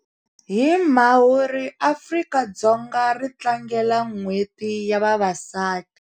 Hi Mhawuri Afrika-Dzonga ri tlangela Nhweti ya Vavasati.